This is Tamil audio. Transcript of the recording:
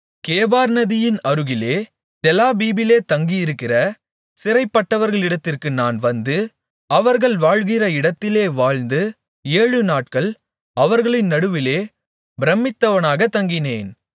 கேபார் நதியின் அருகிலே தெலாபீபிலே தங்கியிருக்கிற சிறைப்பட்டவர்களிடத்திற்கு நான் வந்து அவர்கள் வாழ்கிற இடத்திலே வாழ்ந்து ஏழுநாட்கள் அவர்களின் நடுவிலே பிரமித்தவனாகத் தங்கினேன்